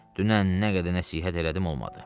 Dünən nə qədər nəsihət elədim, olmadı.